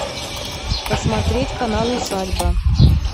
посмотреть канал усадьба